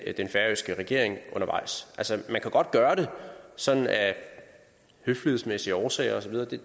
den færøske regering undervejs altså man kan godt gøre det sådan af høflighedsmæssige årsager osv